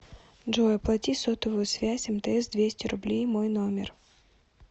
джой оплати сотовую связь мтс двести рублей мой номер